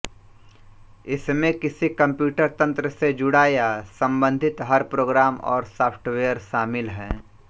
इसमें किसी कंप्यूटर तंत्र से जुड़ा या संबंधित हर प्रोग्राम और सॉफ्टवेयर शामिल है